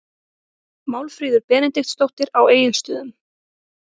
Málfríður Benediktsdóttir á Egilsstöðum